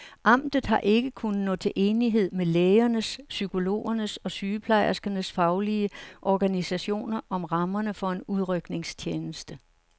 Amtet har ikke kunnet nå til enighed med lægernes, psykologernes og sygeplejerskernes faglige organisationer om rammerne for en udrykningstjeneste.